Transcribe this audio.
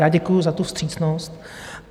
Já děkuju za tu vstřícnost.